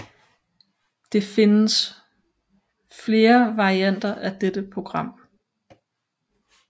Det findes flere varianter af dette program